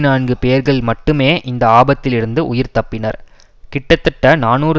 நான்கு பேர்கள் மட்டுமே இந்த ஆபத்திலிருந்து உயிர் தப்பினர் கிட்டத்தட்ட நாநூறு